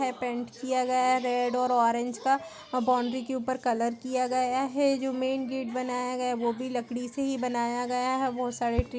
में पेंट किया गया है रेड और ऑरेंज का बाउंड्री के ऊपर कलर किया गया है जो मेन गेट बनाया गया है वो भी लकड़ी से ही बनाया गया है बहुत सारे ट्री --